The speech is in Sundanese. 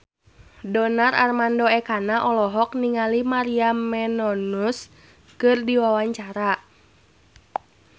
Donar Armando Ekana olohok ningali Maria Menounos keur diwawancara